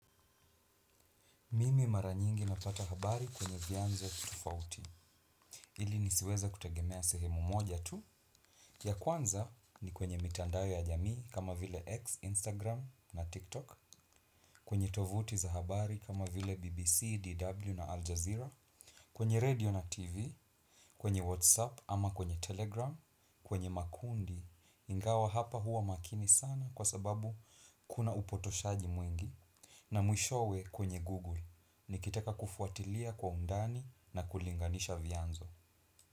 Mimi maranyingi napata habari kwenye vianzo tofauti ili nisiweza kutegemea sehemu moja tu. Ya kwanza ni kwenye mitandao ya jamii kama vile X, Instagram na TikTok. Kwenye tovuti za habari kama vile BBC, DW na Aljazira Kwenye radio na TV, kwenye WhatsApp ama kwenye Telegram Kwenye Makundi, ingawa hapa huwa makini sana kwa sababu kuna upotoshaji mwingi. Na mwishowe kwenye Google, nikitaka kufuatilia kwa undani na kulinganisha vianzo.